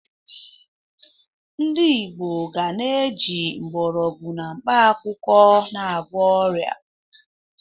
Ndị Igbo ga na-eji mgbọrọgwụ na mkpakwụkwọ na-agwọ ọrịa.